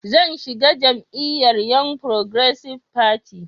Zan shiga jam'iyyar Young Progressive Party (YPP)